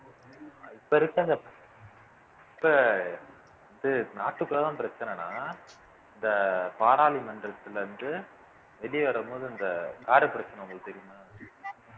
இப்ப இருக்கற அந் இப்ப இது நாட்டுக்குள்ளதான் பிரச்சனைன்னா இந்த பாராளுமன்றத்துல இருந்து வெளியே வரும்போது இந்த car பிரச்சனை உங்களுக்கு தெரியுமா